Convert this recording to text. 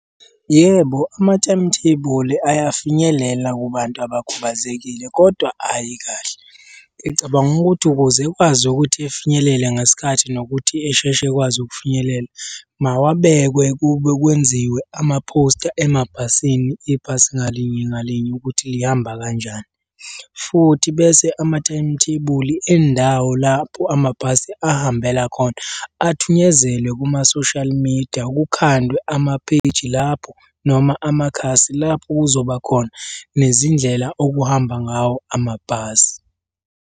Yebo, ama-timetable ayafinyelela kubantu abakhubazekile kodwa ayi kahle. Ngicabanga ukuthi ukuze ekwazi ukuthi efinyelele ngesikhathi nokuthi esheshe ekwazi ukufinyelela, mawabekwe kube kwenziwe amaphosta emabhasini ibhasi ngalinye ngalinye ukuthi lihamba kanjani, futhi bese ama-timetable endawo lapho amabhasi ahambela khona athunyezelwe kuma-social media kukhandwe amapheyiji lapho noma amakhasi lapho kuzoba khona nezindlela okuhamba ngawo amabhasi.